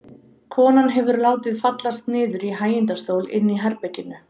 Konan hefur látið fallast niður í hægindastól inni í herberginu.